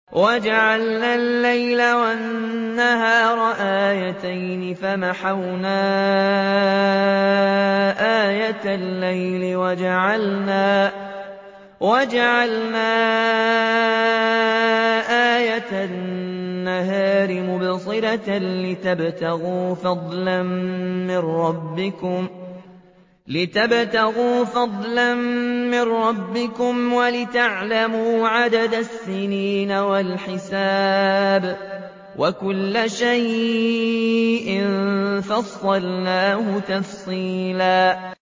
وَجَعَلْنَا اللَّيْلَ وَالنَّهَارَ آيَتَيْنِ ۖ فَمَحَوْنَا آيَةَ اللَّيْلِ وَجَعَلْنَا آيَةَ النَّهَارِ مُبْصِرَةً لِّتَبْتَغُوا فَضْلًا مِّن رَّبِّكُمْ وَلِتَعْلَمُوا عَدَدَ السِّنِينَ وَالْحِسَابَ ۚ وَكُلَّ شَيْءٍ فَصَّلْنَاهُ تَفْصِيلًا